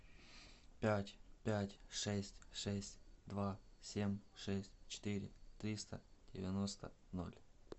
пять пять шесть шесть два семь шесть четыре триста девяносто ноль